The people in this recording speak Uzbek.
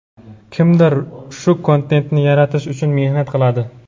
Kimdir shu kontentni yaratish uchun mehnat qiladi.